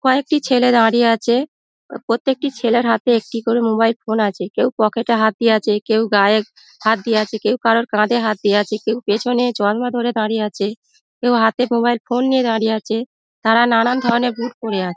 কয়েকটি ছেলে দাঁড়িয়ে আচে | প্রতেকটি ছেলের হাতে একটি করে মোবাইল ফোন আচে | কেউ পকেট -এ হাত দিয়ে আচে কেউ গায়ে হাত দিয়ে আচে কেউ কারুর কাঁধে হাত দিয়ে আচে কেউ পেছনে চশমা ধরে দাঁড়িয়ে আচে কেউ হাতে মোবাইল ফোন নিয়ে দাঁড়িয়ে আচে | তারা নানান ধরণের বুট পরে আচে |